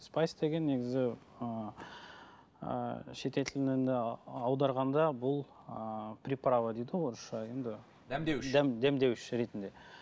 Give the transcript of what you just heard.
спайс деген негізі ыыы шетел тілінен аударғанда бұл ыыы приправа дейді ғой орысша енді дәмдеуіш ретінде